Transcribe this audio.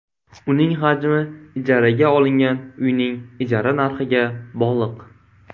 Uning hajmi ijaraga olingan uyning ijara narxiga bog‘liq.